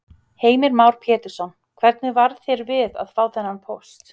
Heimir Már Pétursson: Hvernig varð þér við að fá þennan póst?